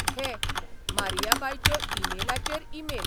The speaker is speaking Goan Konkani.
घे, मारियाबायच्यो ई मेलाचेर ई मेल.